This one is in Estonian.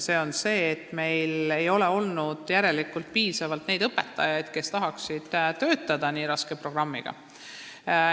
Meil ei ole olnud järelikult piisavalt neid õpetajaid, kes tahaksid töötada nii raske programmiga.